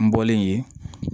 N bɔlen yen